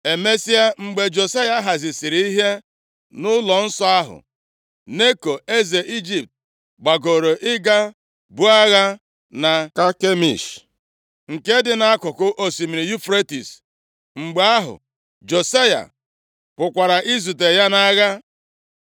Emesịa, mgbe Josaya hazisịrị ihe nʼụlọnsọ ahụ, Neko eze Ijipt gbagoro ịga buo agha na Kakemish, nke dị nʼakụkụ osimiri Yufretis. Mgbe ahụ, Josaya pụkwara izute ya nʼagha.